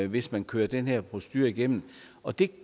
hvis man kører den her procedure igennem og det